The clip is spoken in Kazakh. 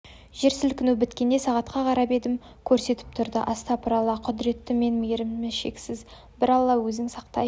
жер сілкіну біткенде сағатқа қарап едім көрсетіп тұрды астапыраллақұдіреті мен мейірімі шексіз бір алла өзің сақтай